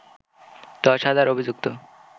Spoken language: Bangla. দশ হাজার অভিযুক্ত